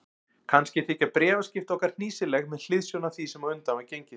Kannski þykja bréfaskipti okkar hnýsileg með hliðsjón af því sem á undan var gengið.